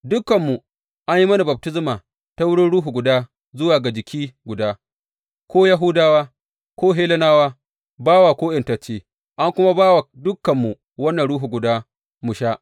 Dukanmu an yi mana baftisma ta wurin Ruhu guda zuwa ga jiki guda, ko Yahudawa ko Hellenawa, bawa ko ’yantacce, an kuma ba wa dukanmu wannan Ruhu guda mu sha.